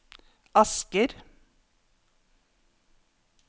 Asker